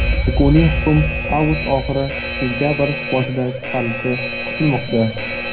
Yakuniy hukm avgust oxiri sentabr boshida chiqarilishi kutilmoqda.